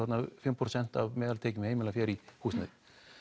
fimm prósent af meðaltekjum heimilanna fara í húsnæði